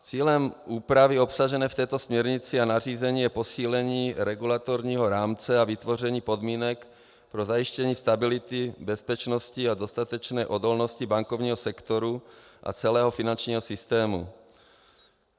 Cílem úpravy obsažené v této směrnici a nařízení je posílení regulatorního rámce a vytvoření podmínek pro zajištění stability, bezpečnosti a dostatečné odolnosti bankovního sektoru a celého finančního systému.